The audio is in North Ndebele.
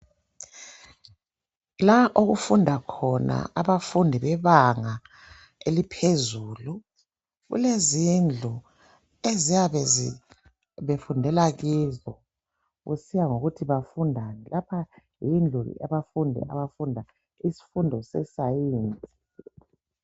La okufunda khona abafundi bebanga eliphezulu kulezindlu eziyabe zi befundela kizo kusiya ngokuthi bafundani. Lapha yindlu abafundi abafunda isifundo se Science.